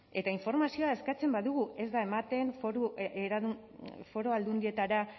eta informazioa eskatzen badugu ez da ematen foru aldundietara